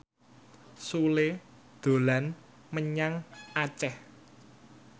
Sule dolan menyang Aceh